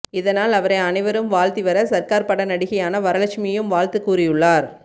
இதனால் அவரை அனைவரும் வாழ்த்தி வர சர்க்கார் பட நடிகையான வரலட்சுமியும் வாழ்த்து கூறியுள்ளார்